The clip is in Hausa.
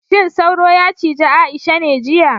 Shin sauro yacije Aisha ne jiya